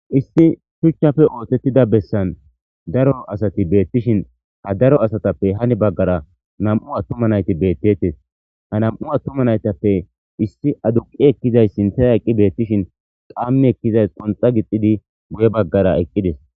Issi shuchchafe oothettida bessan daro asati beettishin ha daro asatappe hani baggara nam'u attoma nayti beettetes ha nam'u attoma naytappe issi aduqi ekkizay sinthaya eqqi beettishin qaamme ekkizays qonxa gixidi guye baggara eqqides.